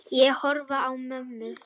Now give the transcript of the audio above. Ég horfi á mömmu.